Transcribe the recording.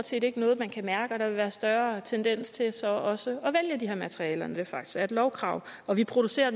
set ikke noget man kan mærke og der vil være større tendens til så også at vælge de her materialer når det faktisk er et lovkrav og vi producerer